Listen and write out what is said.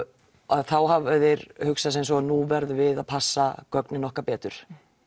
þá hafa þeir hugsað sem svo nú verðum við að passa gögnin okkar betur